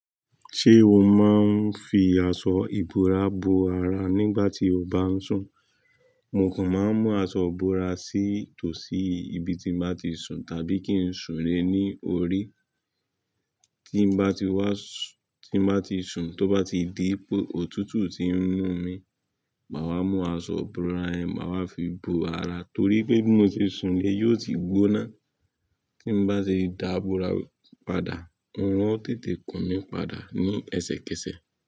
Ṣé o máa ń fi aṣọ ìbora bo ara nígbà tí o bá ń sùn? Mo kan máa ń mú aṣọ ìbora sí tòsí ibi tin ma ti sùn àbí kin sùn lé ní orí? Tin bá ti wá s tin bá ti sùn tó bá ti di wí pé òtútù tin mú mi ma wá mú aṣọ bora yẹn ma wá fi bo ara torí pé bí mo ṣe sùn lé yío tí gbóná. Tí bá ti dá bora padà, orùn ó tètè kùn mí padà ní ẹsẹ kẹsẹ.